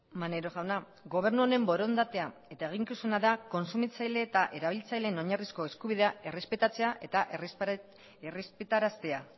maneiro jauna gobernu honen borondatea eta eginkizuna da kontsumitzaile eta erabiltzaileen oinarrizko eskubidea errespetatzea eta errespetaraztea